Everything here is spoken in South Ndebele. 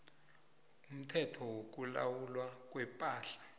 umthetho wokulawulwa kwepahla